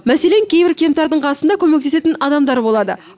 мәселен кейбір кемтардың қасында көмектесетін адамдары болады